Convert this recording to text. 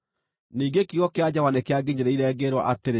Ningĩ kiugo kĩa Jehova nĩkĩanginyĩrĩire, ngĩĩrwo atĩrĩ: